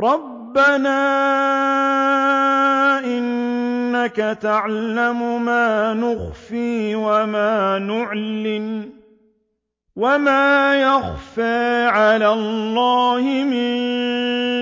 رَبَّنَا إِنَّكَ تَعْلَمُ مَا نُخْفِي وَمَا نُعْلِنُ ۗ وَمَا يَخْفَىٰ عَلَى اللَّهِ مِن